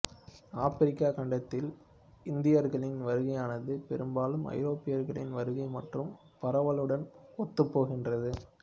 ஆப்பிரிக்கக் கண்டத்தில் இந்தியர்களின் வருகையானது பெரும்பாலும் ஐரோப்பியர்களின் வருகை மற்றும் பரவலுடன் ஒத்துப்போகின்றது